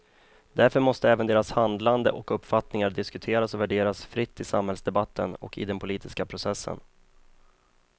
Därför måste även deras handlande och uppfattningar diskuteras och värderas fritt i samhällsdebatten och i den politiska processen.